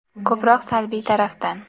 Ko‘proq salbiy tarafdan.